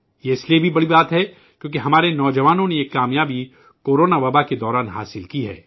یہ اس لیے بھی بڑی بات ہے کیونکہ ہمارے نواجوانوں نے یہ کامیابی کورونا وبائی مرض کے درمیان حاصل کی ہے